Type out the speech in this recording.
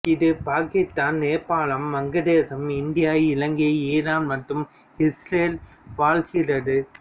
இது Pakistan Nepal Bangladesh India Ilangai Iran மற்றும் இசுரேலில் வாழ்கிறது